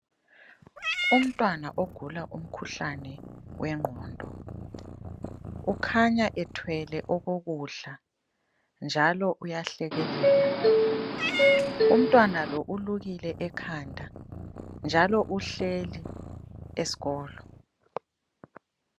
Umntwana ogula umkhuhlane wengqondo, ukhanya ethwele okokudla njalo uyahlekelela. Umntwana lo ulukile ekhanda njalo uhleli esikolo.